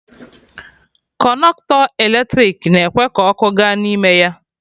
Kọnọktọ eletrik na-ekwe ka ọkụ ga n'ime ya